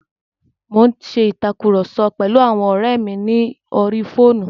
Mo n ṣe ìtàkurọ̀sọ pẹ̀lu àwọn ọ́rẹ́ mi ní orí fóònù.